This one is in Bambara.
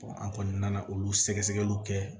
an kɔni nana olu sɛgɛsɛgɛliw kɛ